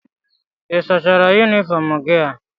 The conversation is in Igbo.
Ị sachara yunifọọm gị a?